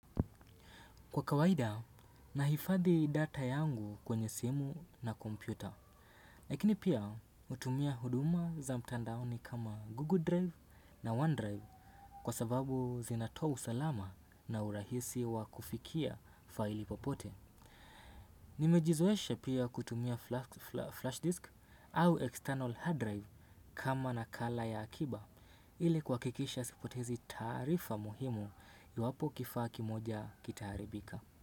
Kwa kawaida, nahifadhi data yangu kwenye simu na kompyuta. Lakini pia utumia huduma za mtandaoni kama Google Drive na OneDrive kwa sababu zinatoa usalama na urahisi wa kufikia faili popote. Nimejizoesha pia kutumia flash disk au external hard drive kama nakala ya akiba. Ile kuhakikisha sipotezi taarifa muhimu iwapo kifaa kimoja kitaharibika.